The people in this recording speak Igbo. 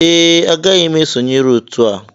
Ee agaghị m esonyere otu a